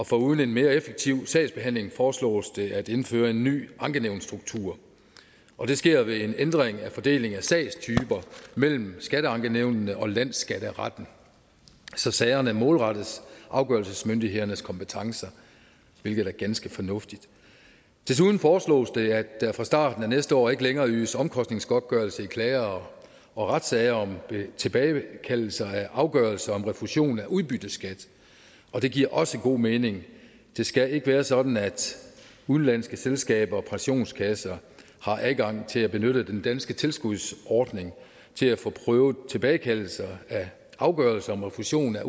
foruden en mere effektiv sagsbehandling foreslås det at indføre en ny ankenævnsstruktur og det sker ved en ændring af fordelingen af sagstyper mellem skatteankenævnene og landsskatteretten så sagerne målrettes afgørelsesmyndighedernes kompetencer hvilket er ganske fornuftigt desuden foreslås det at der fra starten af næste år ikke længere ydes omkostningsgodtgørelse i klage og og retssager om tilbagekaldelse af afgørelser om refusion af udbytteskat og det giver også god mening det skal ikke være sådan at udenlandske selskaber og pensionskasser har adgang til at benytte den danske tilskudsordning til at få prøvet tilbagekaldelse af afgørelser om refusion af